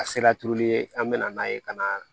A sela turuli ye an bɛ na n'a ye ka na